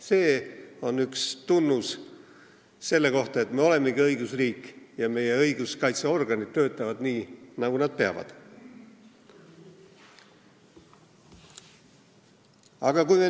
See on üks tunnuseid, et me oleme õigusriik ja meie õiguskaitseorganid töötavad nii, nagu nad peavad töötama.